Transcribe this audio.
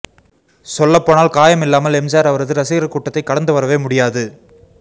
சொல்லப்போனால் காயம் இல்லாமல் எம்ஜிஆர் அவரது ரசிகர்க் கூட்டத்தைக் கடந்துவரவே முடியாது